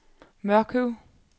Mørkøv